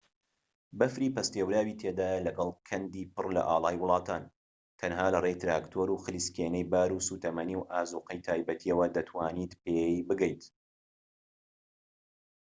بەفری پەستێوراوی تێدایە لەگەڵ کەندی پڕ لە ئاڵای وڵاتان تەنها لەڕێی تراکتۆر و خلیسکێنەی بار و سوتەمەنی و ئازوقەی تایبەتیەوە دەتوانیت پێی بگەیت